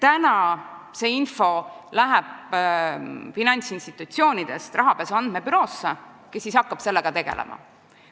Praegu läheb see info finantsinstitutsioonidest rahapesu andmebüroosse, kes hakkab sellega tegelema.